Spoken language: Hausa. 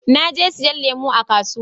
Na je siyan lemu a kasuwa